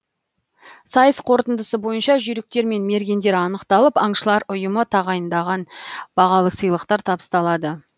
сайыс қорытындысы бойынша жүйріктер мен мергендер анықталып аңшылар ұйымы тағайындаған бағалы сыйлықтар табысталады